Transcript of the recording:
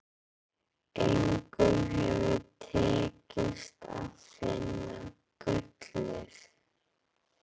Engum hefur tekist að finna gullið.